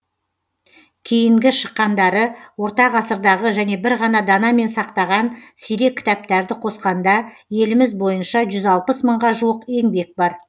кейінгі шыққандары орта ғасырдағы және бір ғана данамен сақтаған сирек кітаптарды қосқанда еліміз бойынша жүз алпыс мыңға жуық еңбек бар